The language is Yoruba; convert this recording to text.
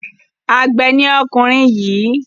Àgbẹ̀ ni ọkùnrin yìí.